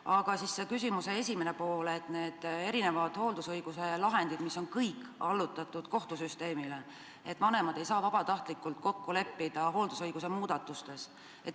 Aga küsimuse esimene pool oli hooldusõiguse lahendite kohta, mis on kõik allutatud kohtusüsteemile, vanemad ei saa vabatahtlikult kokku leppida hooldusõiguse muudatustes.